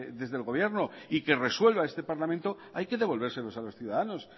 desde el gobierno y que resuelva este parlamento hay que devolvérselo a los ciudadanos